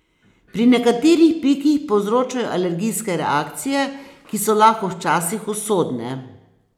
Pri nekaterih piki povzročajo alergijske reakcije, ki so lahko včasih usodne.